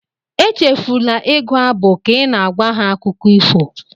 Echefula ịgụ abụ ka ị na-agwa ha akụkọ ifo